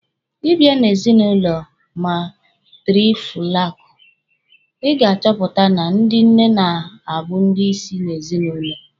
Ị bia na ezinụlọ matịrịfokalụ, Ị ga-achọpụta na ndị nne na-abụ ndị isi n'ezinụlọ.